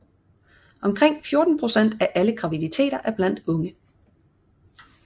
Omkring 14 procent af alle graviditeter er blandt unge